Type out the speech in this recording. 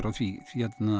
því